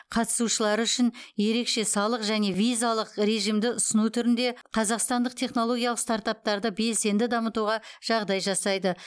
қатысушылары үшін ерекше салық және визалық режимді ұсыну түрінде қазақстандық технологиялық стартаптарды белсенді дамытуға жағдай жасайды